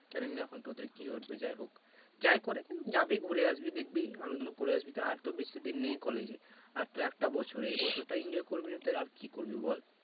জানি না এখন তোদের কি করবে যাইহোক যাই করুক যাবি ঘুরে আসবি দেখবি আনন্দ করে আসবি আর তো বেশি দিন নেই college এ আর তো একটা বছর এই বছরটা enjoy করবি না তো আর কি করবি বল